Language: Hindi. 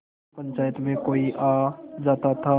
जब पंचायत में कोई आ जाता था